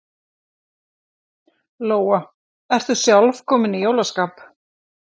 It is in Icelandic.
Lóa: Ertu sjálf komin í jólaskap?